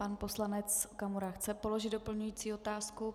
Pan poslanec Okamura chce položit doplňující otázku.